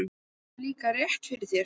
Þú hefur líklega rétt fyrir þér